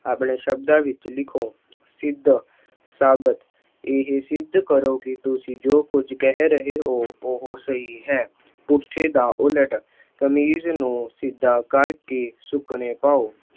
ਆਪਣੇ ਸ਼ਬਦਾਂ ਵਿੱਚ ਲਿਖੋ। ਸਿੱਧ- ਸਾਬਤ- ਇਹ ਸਿੱਧ ਕਰੋ ਕਿ ਤੁਸੀਂ ਜੋ ਕੁੱਝ ਕਹਿ ਰਹੇ ਹੋ ਉਹ ਸਹੀ ਹੈ। ਪੁੱਠੇ ਦਾ ਉਲਟ- ਕਮੀਜ਼ ਨੂੰ ਸਿੱਧਾ ਕਰਕੇ ਸੁੱਕਣੇ ਪਾਉ।